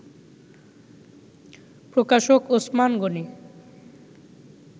প্রকাশক ওসমান গনি